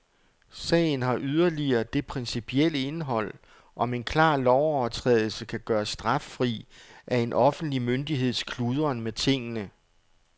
Sagen har yderligere det principielle indhold, om en klar lovovertrædelse kan gøres straffri af en offentlig myndigheds kludren med tingene.